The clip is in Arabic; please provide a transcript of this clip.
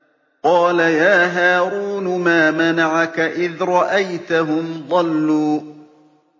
قَالَ يَا هَارُونُ مَا مَنَعَكَ إِذْ رَأَيْتَهُمْ ضَلُّوا